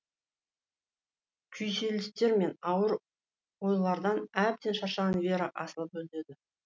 күйзелістер мен ауыр ойлардан әбден шаршаған вера асылып өледі